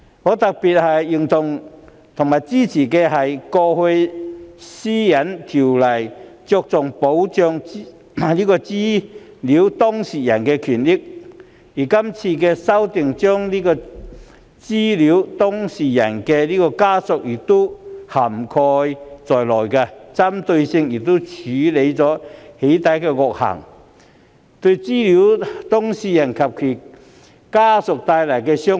我特別認同和支持的一點，是《私隱條例》向來只着重保障資料當事人的權益，而這次修訂，把資料當事人的家人亦納入保障範圍內，針對性地處理對資料當事人及其家人造成傷害的"起底"惡行。